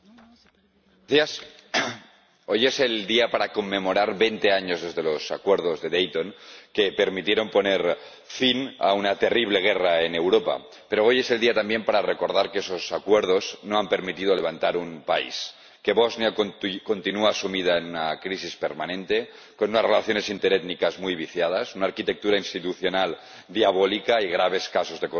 Señora Presidenta, hoy es el día para conmemorar veinte años de los Acuerdos de Dayton, que permitieron poner fin a una terrible guerra en Europa, pero hoy es el día también para recordar que esos Acuerdos no han permitido levantar un país, que Bosnia y Herzegovina continúa sumida en una crisis permanente con unas relaciones interétnicas muy viciadas, una arquitectura institucional diabólica y graves casos de corrupción.